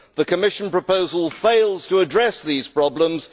The Commission's proposal fails to address these problems.